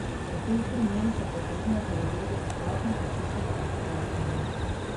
V teh primerih je potrebno preveze dodatno zaščititi, pojasnjuje.